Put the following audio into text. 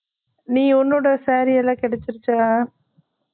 நீ உன்னோட saree எல்லாம் கிடச்சுருச்சா